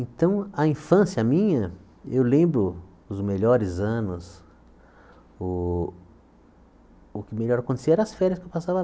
Então, a infância minha, eu lembro os melhores anos, o o que melhor acontecia eram as férias que eu passava.